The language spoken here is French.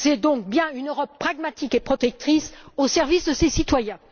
C'est donc bien une Europe pragmatique et protectrice au service de ses citoyens.